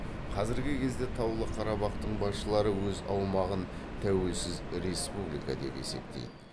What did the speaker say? қазіргі кезде таулы қарабақтың басшылары өз аумағын тәуелсіз республика деп есептейді